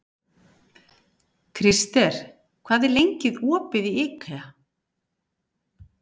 Krister, hvað er lengi opið í IKEA?